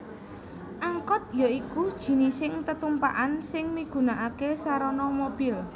Angkot ya iku jinising tetumpakan sing migunakaké sarana mobil